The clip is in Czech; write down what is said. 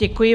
Děkuji.